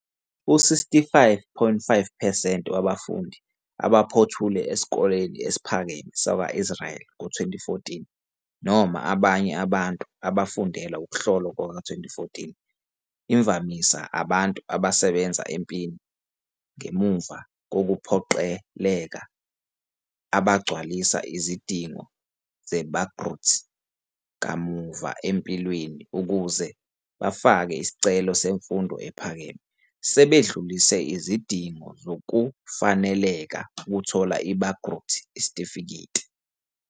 U-65.5 percent wabafundi abaphothule esikoleni esiphakeme sakwa-Israeli sakwa-2014, noma abanye abantu abafundela ukuhlolwa kuka-2014, imvamisa abantu abasebenza empini ngemuva kokuphoqeleka abagcwalisa izidingo zeBagrut kamuva empilweni ukuze bafake isicelo semfundo ephakeme, sebedlulise izidingo zokufanelekela ukuthola iBagrut isitifiketi.